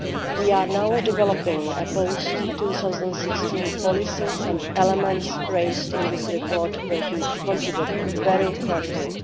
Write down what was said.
We are now developing a post 2016 policy, and elements raised in this report will be considered very carefully.